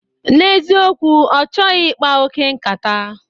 N'eziokwu, ọ chọghị ịkpa oke nkata